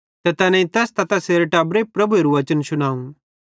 ते तैनेईं तैस त तैसेरे टब्बरे प्रभुएरू वचन शुनाव